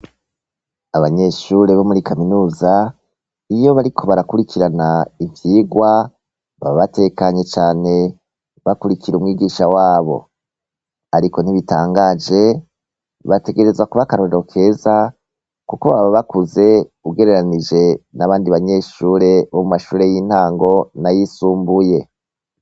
Abanyeshure bomuri kaminuza iyo bariko barakurikirana ivyirwa baba batekanye cane bakurikira umwigisha wabo ariko ntibitangaje bategerezwa kuba akarorero keza kuko baba bakuze ugereranije nabandi banyeshure bomumashure yintango nayisumbuye